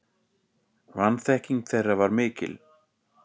Vanþekking þeirra var mikil.